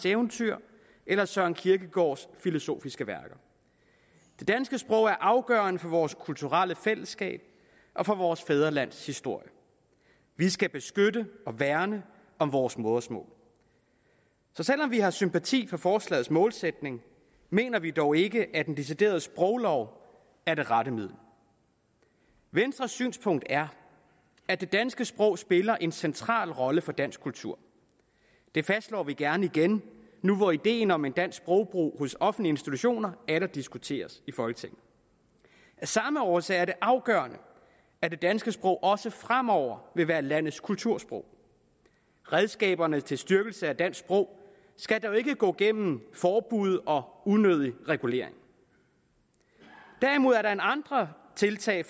eventyr eller søren kirkegaards filosofiske værker det danske sprog er afgørende for vores kulturelle fællesskab og for vores fædrelands historie vi skal beskytte og værne om vores modersmål selv om vi har sympati for forslagets målsætning mener vi dog ikke at en decideret sproglov er det rette middel venstres synspunkt er at det danske sprog spiller en central rolle for dansk kultur det fastslår vi gerne igen nu hvor ideen om dansk sprogbrug hos offentlige institutioner atter diskuteres i folketinget af samme årsag er det afgørende at det danske sprog også fremover vil være landets kultursprog redskaberne til styrkelse af dansk sprog skal dog ikke gå gennem forbud og unødig regulering derimod er der andre tiltag